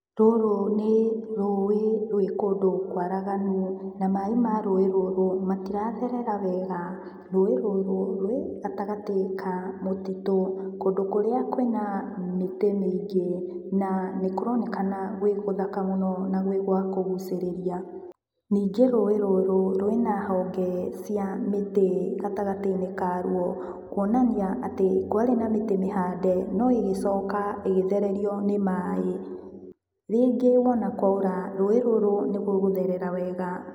Rũrũ nĩ rũĩ rwĩ kũndũ kũaraganu, na maĩ ma rũĩ rũrũ, matiratherera wega. Rũĩ rũrũ rwĩ gatagatĩ ka mũtitũ, kũndũ kũrĩa kwĩna mĩtĩ mĩingĩ na nĩkũronekana gwĩ gũthaka mũno na gwĩ gwakũgucĩrĩria. Ningĩ rũĩ rũrũ, rwĩna honge cia mĩtĩ gatagatĩ-inĩ karuo, kuonania atĩ kwarĩ na mĩtĩ mĩhande, no ĩgĩcoka ĩgĩthererio nĩ maĩ. Rĩngĩ wona kwaura, rũĩ rũrũ nĩrũgũtherera wega.